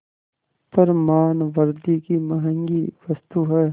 पर मानवृद्वि की महँगी वस्तु है